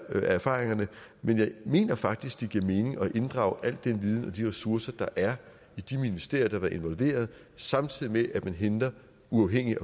af erfaringerne men jeg mener faktisk det giver mening at inddrage al den viden og de ressourcer der er i de ministerier der har været involveret samtidig med at man henter uafhængige